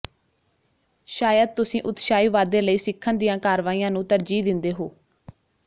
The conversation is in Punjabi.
ਸ਼ਾਇਦ ਤੁਸੀਂ ਉਤਸ਼ਾਹੀ ਵਾਧੇ ਲਈ ਸਿੱਖਣ ਦੀਆਂ ਕਾਰਵਾਈਆਂ ਨੂੰ ਤਰਜੀਹ ਦਿੰਦੇ ਹੋ